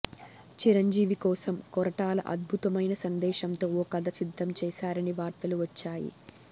చిరంజీవి కోసం కొరటాల అద్భుతమైన సందేశంతో ఓ కథ సిద్ధం చేసారని వార్తలు వచ్చాయి